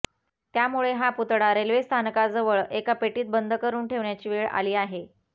त्यामुळे हा पुतळा रेल्वे स्थानकाजवळ एका पेटीत बंद करून ठेवण्याची वेळ आली आहे